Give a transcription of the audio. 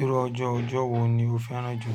Irú ọjọ́ ọjọ́ wo ni o fẹ́ràn jù?